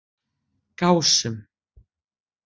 Gásum